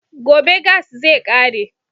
Gobe gas zai ƙare